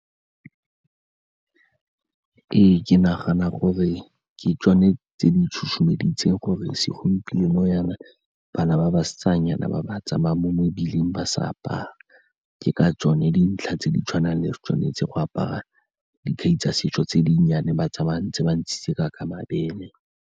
Ee, ke nagana gore ke tsone tse di tshusumeditseng gore segompieno jaana bana ba basetsanyana ba ba tsamaya mo mebileng ba sa apara, ke ka tsone dintlha tse di tshwanang le re tshwanetse go apara dikhai tsa setso tse dinnyane ba tsamaya ba ntshitse ba ntse ka mabele.